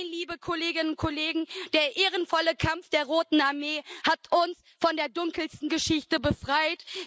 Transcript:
Nein, liebe Kolleginnen und Kollegen, der ehrenvolle Kampf der Roten Armee hat uns von der dunkelsten Geschichte befreit.